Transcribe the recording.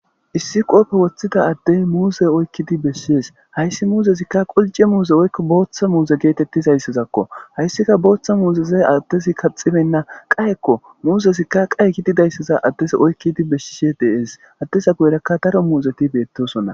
issi qoope woththida addey muuse oykkidi beessees hayssi muuzezikka qolce muuze oykko booththa muuze geetettizayssazakko hayssika booththa muuzeze addezi kaxibenna qayekko muuzezikka qaye kididayssaza addes oykkidi beshshishe dees addesa goyrakka daro muuzeti beettosona